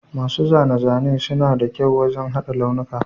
Masu zane-zane suna da kyau wajen haɗa launuka